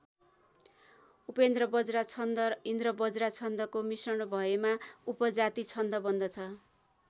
उपेन्द्रवज्रा छन्द र इन्द्रवज्रा छन्दको मिश्रण भएमा उपजाति छन्द बन्दछ।